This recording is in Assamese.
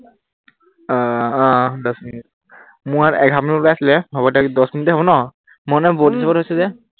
আহ আহ দহ মিনিট, মোৰ ইয়াত এঘাৰ মিনিট উলাইছিলে। হব দে দহ মিনিটেই হব ন? মই মানে উম বন্ধ কৰি থৈছো যে।